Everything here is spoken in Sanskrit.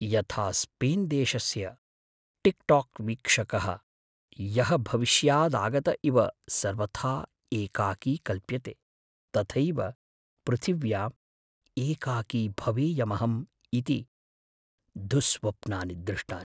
यथा स्पेन्देशस्य टिक्टोक् वीक्षकः, यः भविष्यादागत इव सर्वथा एकाकी कल्प्यते, तथैव पृथिव्याम् एकाकी भवेयमहम् इति दुःस्वप्नानि दृष्टानि।